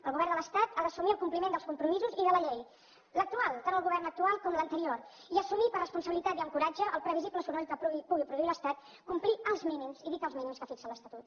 el govern de l’estat ha d’assumir el compliment dels compromisos i de la llei l’actual tant el govern actual com l’anterior i assumir per responsabilitat i amb coratge el previsible soroll que pugui produir l’estat complir els mínims i dic els mínims que fixa l’estatut